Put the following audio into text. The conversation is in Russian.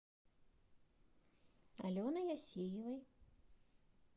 аленой асеевой